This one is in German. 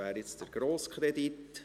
Das ist der grosse Kredit.